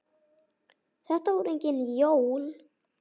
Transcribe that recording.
Þetta voru engin jól.